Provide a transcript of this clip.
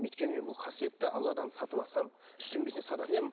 өйткені мен бұл қасиетті алладан сатып алсам сататын едім